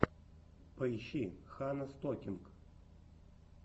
поищи ханна стокинг